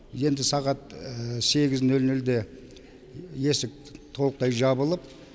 енді сағат сегіз нөл нөлде есік толықтай жабылып